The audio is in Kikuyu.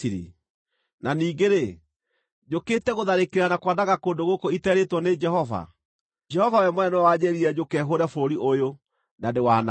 Na ningĩ-rĩ, njũkĩte gũtharĩkĩra na kwananga kũndũ gũkũ iterĩĩtwo nĩ Jehova? Jehova we mwene nĩwe wanjĩĩrire njũke hũũre bũrũri ũyũ, na ndĩwanange.’ ”